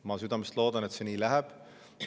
Ma südamest loodan, et see nii läheb.